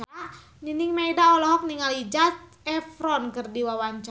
Nining Meida olohok ningali Zac Efron keur diwawancara